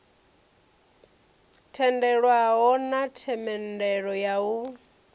tendelwaho na themendelo ya u